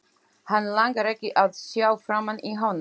Hann langar ekki að sjá framan í hana.